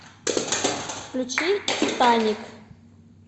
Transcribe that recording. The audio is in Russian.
включи титаник